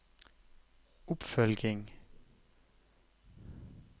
oppfølging